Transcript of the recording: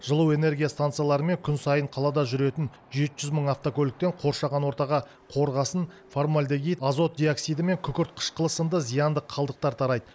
жылу энергия станциялары мен күн сайын қалада жүретін жеті жүз мың автокөліктен қоршаған ортаға қорғасын фармальдегид азот диоксиді мен күкірт қышқылы сынды зиянды қалдықтар тарайды